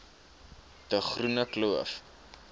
de groene kloof